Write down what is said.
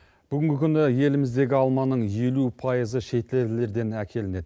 бүгінгі күні еліміздегі алманың елу пайызы шетелдерден әкелінеді